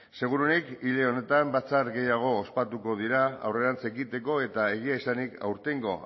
segurenik hile honetan batzar gehiago ospatuko dira aurrerantz egiteko eta egia esanik aurtengo